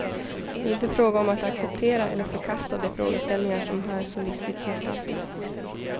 Det är inte fråga om att acceptera eller förkasta de frågeställningar som här så listigt gestaltas.